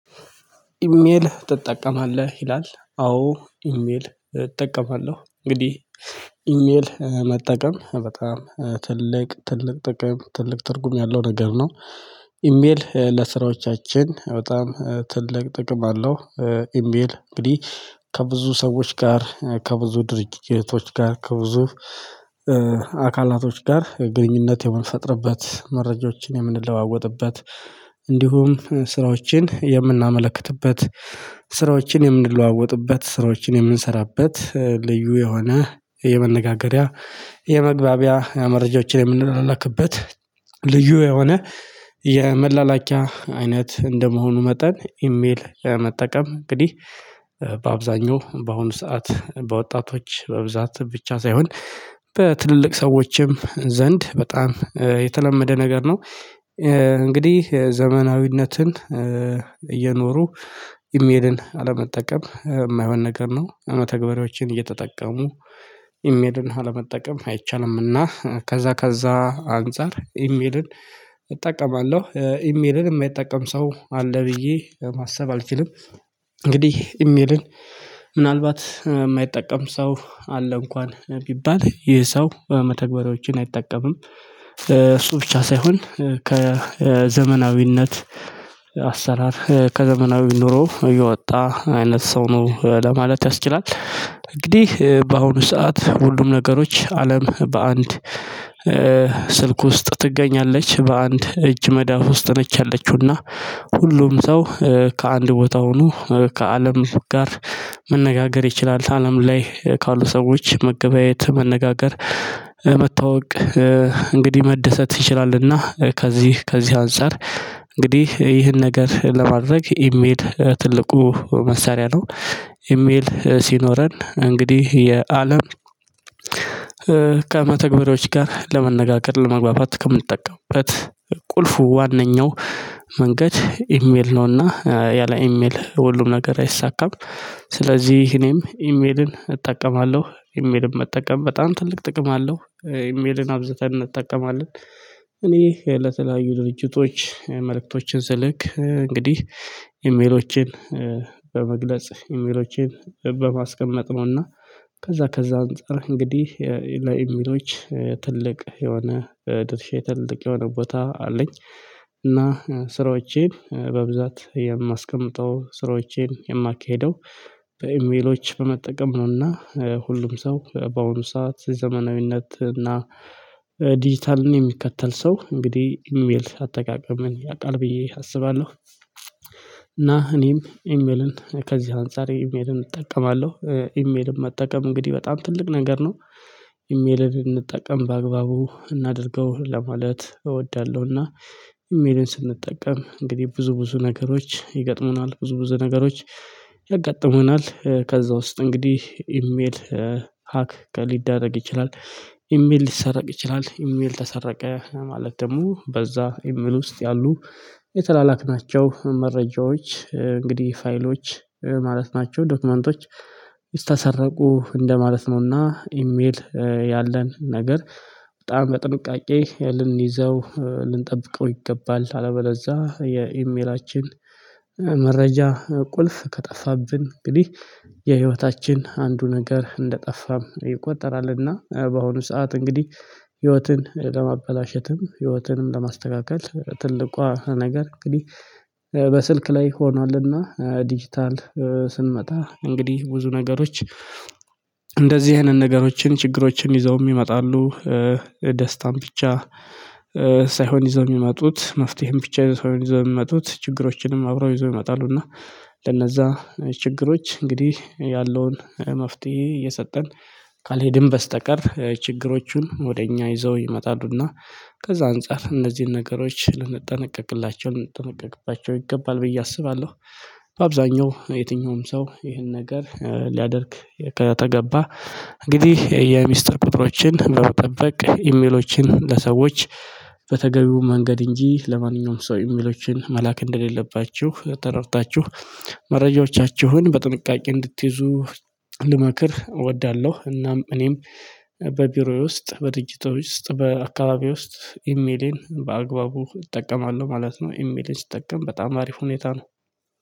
ኢሜል ትጠቀማለህ ይላል አዎ ኢሜል እጠቀማለሁ እንግዲህ ኢሜል መጠቀም በጣም ትልቅ ትልቅ ጥቅም ትልቅ ትርጉም ያለው ነገር ነው። ኢሜል ለስራዎቻችን በጣም ትልቅ ጥቅም አለው። ኢሜል እንግዲህ ከብዙ ሰዎች ጋር ከብዙ ድርጊቶች ጋር ከብዙ አካላቶች ጋር ግንኙነት የምንፈጥርበት መረጃዎችን የምንለዋወጥበት እንዲሁም ስራዎችን የምናመለክትበት ስራዎችን የምንለዋወጥበት ስራዎችን የምንሰራበት ልዩ የሆነ የመነጋገሪያ የመግባቢያ መረጃዎችን የምንላላክበት ልዩ የሆነ የመላላኪያ አይነት እንደመሆኑ መጠን ኢሜል መጠቀም እንግዲህ በአብዛኛው በአሁኑ ሰዓት በወጣቶች በብዛት ብቻ ሳይሆን በትልልቅ ሰዎችም ዘንድ በጣም የተለመደ ነገር ነው። እንግዲህ ዘመናዊነትን እየኖሩ ኢሜልን አለመጠቀም የማይሆን ነገር ነው። መተግባሪያዎችን እየተጠቀሙ ኢሜልን አለመጠቀም አይቻልምና ከዛ ከዛ አንፃር ኢሜልን እጠቀማለሁ ኢሜልን የማይጠቀም ሰው አለ ብዬ ማሰብ አልችልም። እንግዲህ ኢሜልን ምናልባት የማይጠቀም ሰው አለ እንኳን ቢባል ይህ ሰው በመተግበሪያዎችን አይጠቀምም። እሱ ብቻ ሳይሆን ከዘመናዊነት አሰራር ከዘመናዊ ኑሮ እየወጣ አይነት ሰው ነው ለማለት ያስችላል። እንግዲህ በአሁኑ ሰዓት ሁሉም ነገሮች አለም በአንድ ስልክ ውስጥ ትገኛለች በአንድ እጅ መዳፍ ውስጥ ነች። ያለችውና ሁሉም ሰው ከአንድ ቦታ ሆኖ ከአለም ጋር መነጋገር ይችላል አለም ላይ ካሉ ሰዎች መገበያየት መነጋገር መታዋወቅ እንግዲህ መደሰት ይችላልና። ከዚህ ከዚህ አንፃር እንግዲህ ይህን ነገር ለማድረግ የሚሄድ ትልቁ መሳሪያ ነው። ኢሜል ሲኖረን እንግዲህ የአለም ከመተግበሪያዎች ጋር ለመነጋገር ለመግባባት ከምንጠቀምበት ቁልፉ ዋነኛው መንገድ ኢሜል ነውና ያለ ኢሜል ለሁሉም ነገር አይሳካም። ስለዚህ እኔም ኢሜልን እጠቀማለሁ ኢሜልም መጠቀም በጣም ትልቅ ጥቅም አለው። ኢሜልን አብዝተን እጠቀማለን። እኔ የለተለያዩ ድርጅቶች መልእክቶችን ስልክ እንግዲህ ኢሜሎችን በመግለጽ ኢሜሎቼን በማስቀመጥ ነውና ከዛ ከዛ አንፃር እንግዲህ ለኢሜሎች ትልቅ የሆነ ድርሼ ትልቅ የሆነ ቦታ አለኝ። እና ስራዎቼን በብዛት የማስቀምጠው ስራዎቼን የማካሄደው በኢሜሎች በመጠቀም ነውና። ሁሉም ሰው በአሁኑ ሰዓት ዘመናዊነት እና ዲጂታልን የሚከተል ሰው እንግዲህ ኢሜል አጠቃቀምን ያውቃል ብዬ አስባለሁ። እና እኔም ኢሜልን ከዚህ አንፃር ኢሜልን እጠቀማለሁ። ኢሜልን መጠቀም እንግዲህ በጣም ትልቅ ነገር ነው። ኢሜልን እንጠቀም በአግባቡ እናድርገው ለማለት እወዳለሁና። ኢሜልን ስንጠቀም እንግዲህ ብዙ ብዙ ነገሮች ይገጥሙናል ብዙ ብዙ ነገሮች ያጋጥሙናል ከዛ ውስጥ እንግዲህ ኢሜል ሀክ ሊደረግ ይችላል። ኢሜል ሊሰረቅ ይችላል ኢሜል ተሰረቀ ማለት ደግሞ በዛ ኢሜል ውስጥ ያሉ የተላላክ ናቸው። መረጃዎች እንግዲህ ፋይሎች ማለት ናቸው ዶክመንቶች ተሰረቁ እንደማለት ነውና። ኢሜል ያለን ነገር በጣም በጥንቃቄ ልንይዘው ልንጠብቀው ይገባል። አለበለዛ የኢሜላችን መረጃ ቁልፍ ከጠፋብን እንግዲህ የህይወታችን አንዱ ነገር እንደጠፋም ይቆጠራልና። በአሁኑ ሰዓት እንግዲህ ህይወትን ለማበላሸትም ህይወትንም ለማስተካከል ትልቋ ነገር እንግዲህ በስልክ ላይ ሆኗልና። ዲጂታል ስንመጣ እንግዲህ ብዙ ነገሮች እንደዚህ ይሄንን ነገሮችን ችግሮችን ይዘው ይመጣሉ። ደስታን ብቻ ሳይሆን ይዘው የሚመጡት መፍትሄም ብቻ ሳይሆን ይዘው የሚመጡት ችግሮችንም አብረው ይዞ ይመጣሉ። እና ለነዛ ችግሮች እንግዲህ ያለውን መፍትሄ የሰጠን ካልሄድን በስተቀር ችግሮቹን ወደ እኛ ይዘው ይመጣሉና። ከዛ አንፃር እንደዚህ ነገሮች ልንጠነቀቅላቸው ልንጠነቀቅባቸው ይገባል ብዬ አስባለሁ። በአብዛኛው የትኛውም ሰው ይህን ነገር ሊያደርግ ከተገባ እንግዲህ የሚስጥር ቁጥሮችን በጠበቅ ኢሜሎችን ለሰዎች በተገቢው መንገድ እንጂ ለማንኛውም ሰው ኢሜሎችን መላክ እንደሌለባችሁ ተረድታችሁ መረጃዎቻችሁን በጥንቃቄ እንድትይዙ ልመክር እወዳለሁ። እናም እኔም በቢሮዬ ውስጥ በድርጅቱ ውስጥ በአካባቢዬ ውስጥ ኢሜሌን በአግባቡ እጠቀማለሁ ማለት ነው። ኢሜሌን ስጠቀም በጣም አሪፍ ሁኔታ ነው።